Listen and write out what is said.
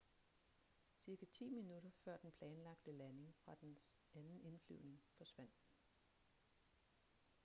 cirka ti minutter før den planlagte landing fra dens anden indflyvning forsvandt den